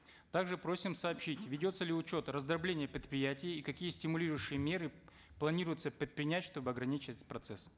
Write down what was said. также просим сообщить ведется ли учет раздробления предприятий и какие стимулирующие меры планируется предпринять чтобы ограничить процесс